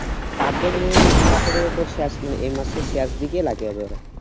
কাটবো নিজের নাম না করে তোর শেষ এই মাসের শেষ দিকে লাগাবো